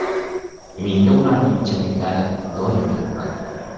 Menga ularning ichimliklari doim yoqqan.